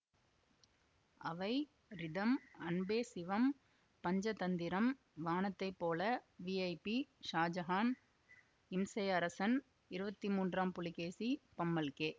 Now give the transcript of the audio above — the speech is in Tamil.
அவை Rhythm Anbe Sivam Panchathanthiram Vaanathai Pola VIP Shahjahan Imsai Arasan Iruvathi Moondram Pulikesi Pammal K